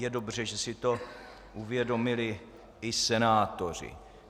Je dobře, že si to uvědomili i senátoři.